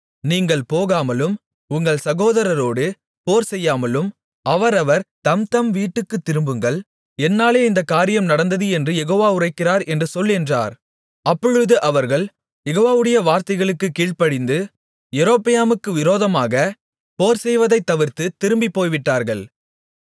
நீங்கள் போகாமலும் உங்கள் சகோதரரோடு போர்செய்யாமலும் அவரவர் தம்தம் வீட்டுக்குத் திரும்புங்கள் என்னாலே இந்தக் காரியம் நடந்தது என்று யெகோவா உரைக்கிறார் என்று சொல் என்றார் அப்பொழுது அவர்கள் யெகோவாவுடைய வார்த்தைகளுக்குக் கீழ்ப்படிந்து யெரொபெயாமுக்கு விரோதமாக போர்செய்வதைத் தவிர்த்துத் திரும்பிப் போய்விட்டார்கள்